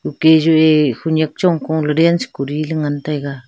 a khenek chong ko dance kori ngan taiga.